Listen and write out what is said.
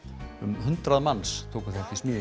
um hundrað manns tóku þátt í smíðinni